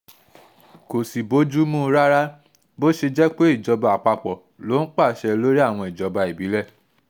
kò sì bójú mu rárá bó ṣe jẹ́ pé ìjọba àpapọ̀ ló ń pàṣẹ lórí àwọn ìjọba ìbílẹ̀